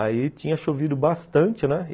Aí tinha chovido bastante, né?